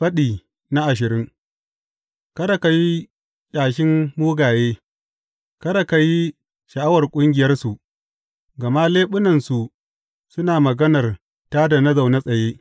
Faɗi ashirin Kada ka yi ƙyashin mugaye, kada ka yi sha’awar ƙungiyarsu; gama leɓunansu suna maganar tā da na zaune tsaye ne.